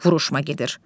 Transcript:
Vuruşma gedir.